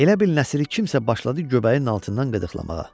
Elə bil Nəsri kimsə başladı göbəyin altından qıdıqlamağa.